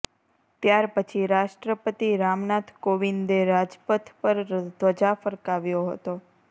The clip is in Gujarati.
ત્યારપછી રાષ્ટ્રપતિ રામનાથ કોવિંદે રાજપથ પર ધ્વજા ફરકાવ્યો હતો